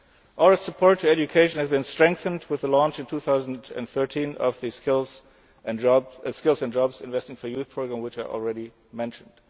basis. Our support for education has been strengthened with the launch, in July 2013, of the Skills and Jobs Investing for Youth' programme which I already mentioned.